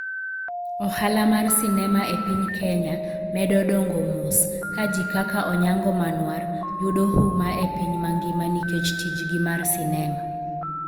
Ohala mar sinema e piny Kenya medo dongo mos, ka ji kaka Onyango Manuar yudo huma e piny mangima nikech tijgi mar sinema.